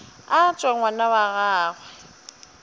a tšwe ngwana wa gagwe